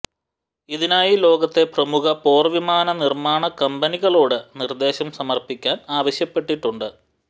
ഇതിനായി ലോകത്തെ പ്രമുഖ പോർവിമാന നിർമാണ കമ്പനികളോട് നിർദേശം സമർപ്പിക്കാൻ ആവശ്യപ്പെട്ടിട്ടുണ്ട്